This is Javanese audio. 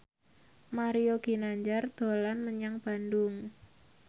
Mario Ginanjar dolan menyang Bandung